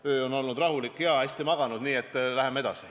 Öö on olnud rahulik ja hea, olen hästi maganud, nii et läheme edasi.